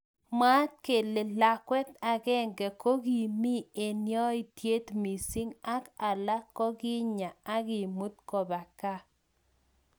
mwaat kele lakwet akenge kokimi eng yaityet missing ak alak kikinya akimut koba kaa.